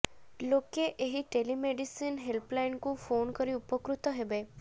ଲୋକେ ଏହି ଟେଲିମେଡିସିନ ହେଲ୍ପଲାଇନକୁ ଫୋନ କରି ଉପକୃତ ହେବେ